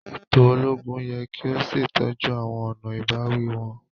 Eto ologun yẹ ki o ṣetọju awọn ọna ibawi wọn.